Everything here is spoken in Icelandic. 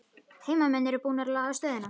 Heimamenn eru búnir að laga stöðuna